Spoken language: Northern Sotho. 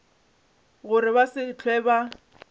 gore ba se hlwe ba